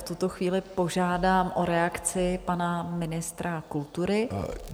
V tuto chvíli požádám o reakci pana ministra kultury.